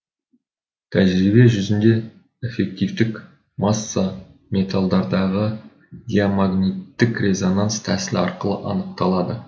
тәжірибе жүзінде эффективтік масса металдардағы диамагниттік резонанс тәсілі арқылы анықталады